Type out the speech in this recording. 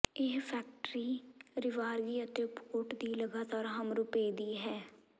ਇਹ ਫੈਕਟਰੀ ਰਾਿਵਗਰੀ ਅਤੇ ਪੋਰਟ ਦੀ ਲਗਾਤਾਰ ਹਮ ਰੁਪਏ ਦੀ ਹੈ